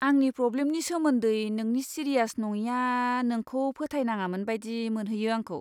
आंनि प्रब्लेमनि सोमोनदै नोंनि सिरियास नङिया नोंखौ फोथाय नाङामोन बायदि मोनहोयो आंखौ।